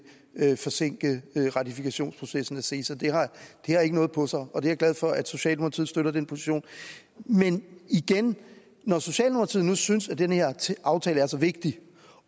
vil forsinke ratifikationsprocessen af ceta det har ikke noget på sig og jeg er glad for at socialdemokratiet støtter den position men igen når socialdemokratiet nu synes at den her aftale er så vigtig